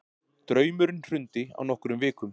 Draumurinn hrundi á nokkrum vikum.